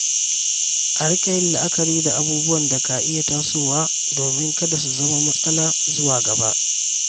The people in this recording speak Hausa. A riƙa yin la’akari da abubuwan da ka iya tasowa domin kada su zama matsala zuwa gaba.